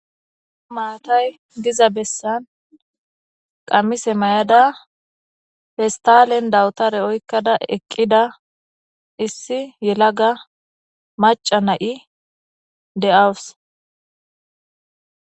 Maatay diza bessan qamise maayada pestalen dawutara oykada eqqida issi yelaga macca na'i de'aws.